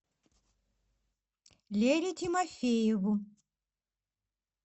лере тимофееву